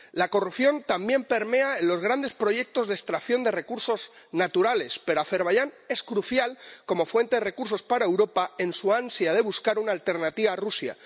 La corrupción también permea en los grandes proyectos de extracción de recursos naturales, pero Azerbaiyán es crucial como fuente de recursos para Europa en su ansia de buscar una alternativa a Rusia.